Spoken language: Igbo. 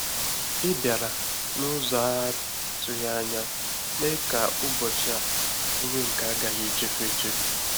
Ị bịara n’ụzọ a-atụghị anya mee ka ụbọchị a bụrụ nke a gaghị echefu echefu